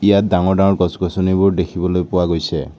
ইয়াত ডাঙৰ ডাঙৰ গছ-গছনিবোৰ দেখিবলৈ পোৱা গৈছে।